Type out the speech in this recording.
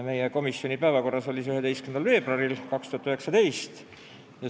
Meie komisjoni päevakorras oli see eelnõu 11. veebruaril 2019.